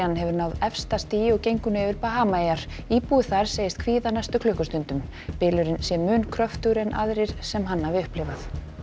hefur náð efsta stigi og gengur nú yfir Bahamaeyjar íbúi þar segist kvíða næstu klukkustundum bylurinn sé mun kröftugi en aðrir sem hann hafi upplifað